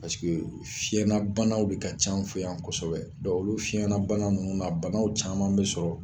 Paseke fiɲɛnabanaw de ka c'an fɛ yan kosɛbɛ dɔn olu fiɲɛnabana nunnu na banaw caman be sɔrɔ